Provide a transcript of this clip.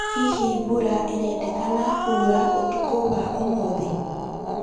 hĩhĩ mbura irendekana kũura ũtũkũ wa umuthi